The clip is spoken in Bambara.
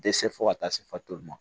Dɛsɛ fo ka taa se fatulu ma